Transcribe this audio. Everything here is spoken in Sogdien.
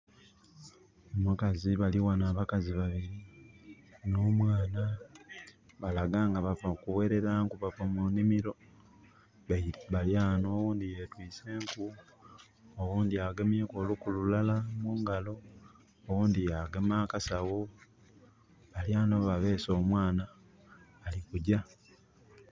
Omukazi, bali ghano abakazi babili, n'omwana. Balaga nga bava kughelera nku, bava mu nhimiro. Bali ghano oghundhi yetwiise enku, oghundi agemyeku oluku lulala mungalo, oghundhi yagema akasagho. Bali ghano babeese omwana, bali kugya.